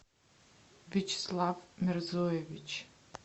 вячеслав мерзоевич